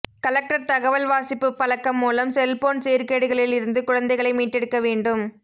collector தகவல் வாசிப்பு பழக்கம் மூலம் செல்போன் சீர்கேடுகளில் இருந்து குழந்தைகளை மீட்டெடுக்க வேண்டும்